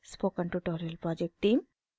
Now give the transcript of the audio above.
spoken tutorial project team: